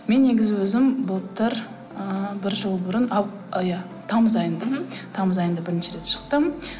мен негізі өзім былтыр ыыы бір жыл бұрын і иә тамыз айында мхм тамыз айында бірінші рет шықтым